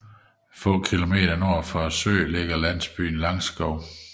Få kilometer nord for søen ligger landsbyen Langskov